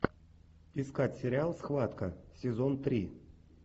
искать сериал схватка сезон три